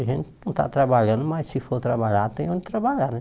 A gente não está trabalhando, mas se for trabalhar, tem onde trabalhar, né?